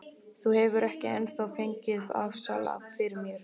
Þú hefur ekki ennþá fengið afsal fyrir mér.